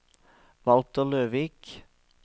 Walter Løvik